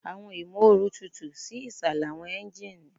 Awọn imooru tutu si isalẹ awọn engine